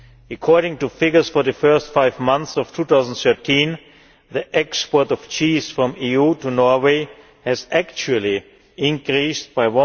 According to figures for the first five months of 2013 the export of cheese from the EU to Norway has actually increased by